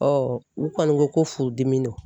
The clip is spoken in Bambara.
u kɔni ko ko furudimi don.